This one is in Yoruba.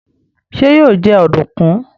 ṣe yíò jé Ọ̀dùnkún?